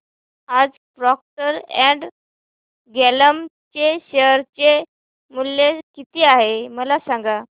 आज Procter and Gamble चे share मूल्य किती आहे मला सांगा